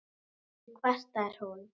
Ekki kvartar hún